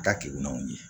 Ka keguwanw ye